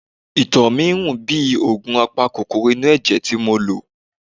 Ìtọ̀ mi ń rùn bíi òògùn apakòkòrò inú ẹ̀jẹ̀ tí mo lò.